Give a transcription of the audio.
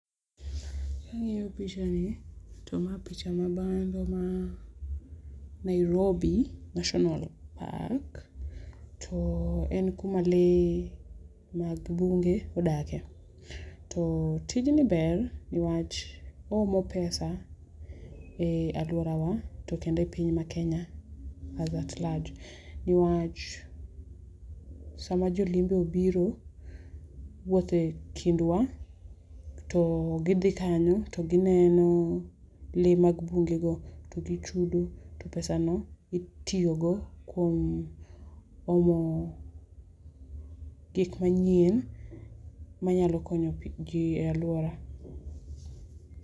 Kang'iyo picha ni to ma picha ma bando ma Nairobi National Park to en kuma lee mag bunge odakie. To tijni ber ni wach oomo pesa e aluorawa gi Kenya as at large ni wach sama jo limbe obiro wuothe e kindwa to gi dhi kanyo to gi neno lee mag bunge go to gi chudo to pesa no itiyo go kuom omo gik manyien manyalo konyo ji e aluora.